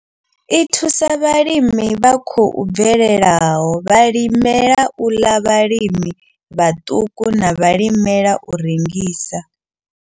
I thusa vhalimi vha khou bvelelaho, vhalimela u ḽa, vhalimi vhaṱuku na vhalimela u rengisa.